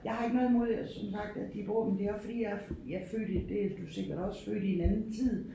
Jeg har ikke noget imod som sagt at de bruger dem det er også fordi jeg er jeg født i det er du sikkert også født i en anden tid